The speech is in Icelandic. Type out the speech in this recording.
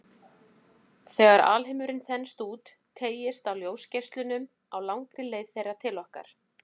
Þegar alheimurinn þenst út, teygist á ljósgeislunum á langri leið þeirra til okkar.